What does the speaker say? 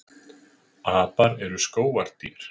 Apar eru skógardýr.